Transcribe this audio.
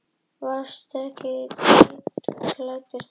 Þú varst hvítklæddur þá.